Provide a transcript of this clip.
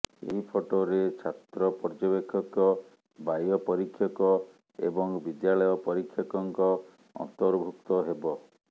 ଏହି ଫଟୋରେ ଛାତ୍ର ପର୍ଯ୍ୟବେକ୍ଷକ ବାହ୍ୟ ପରୀକ୍ଷକ ଏବଂ ବିଦ୍ୟାଳୟ ପରୀକ୍ଷକଙ୍କ ଅନ୍ତର୍ଭୁକ୍ତ ହେବ